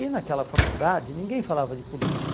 E naquela faculdade ninguém falava de política.